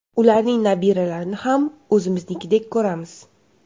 Ularning nabiralarini ham o‘zimnikidek ko‘ramiz.